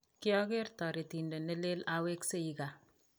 kiageer toritiet neleel awekseii kaa